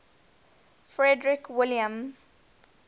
frederick william